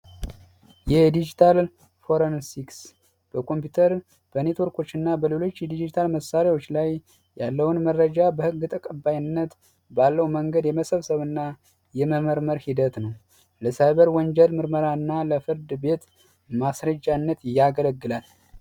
የዲጂታል ፎረንሲክ በኮምፒውተር በኔትወርኮች እና በሌሎች ዲጂታል መሳሪያዎች ላይ ያለውን መረጃ በሕግ ተቀባይነት ባለው መንገድ የመሰብሰብና የመመርመር ሂደት ነው። ለሳይበር ወንጀል ምርመራ እና ለፍርድ ቤት ማስረጃነት ያገለግላል።